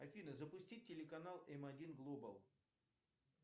афина запусти телеканал м один глобал